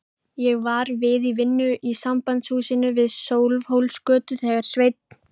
Ég var við vinnu í Sambandshúsinu við Sölvhólsgötu þegar Sveinn